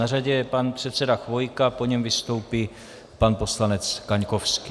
Na řadě je pan předseda Chvojka, po něm vystoupí pan poslanec Kaňkovský.